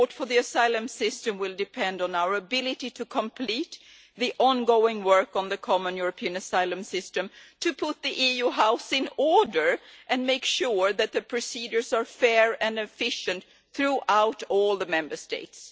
support for the asylum system will depend on our ability to complete the ongoing work on the common European asylum system, so as to put the EU's house in order and make sure that the procedures are fair and efficient throughout all the Member States.